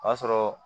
O y'a sɔrɔ